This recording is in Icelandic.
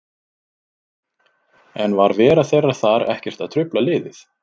En var vera þeirra þar ekkert að trufla liðið?